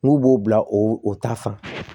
N'u b'o bila o ta fan